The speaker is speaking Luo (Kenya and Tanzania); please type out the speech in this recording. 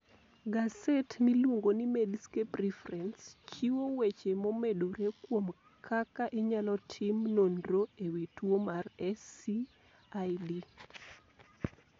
Gaset miluongo ni Medscape Reference chiwo weche momedore kuom kaka inyalo tim nonro e wi tuwo mar SCID.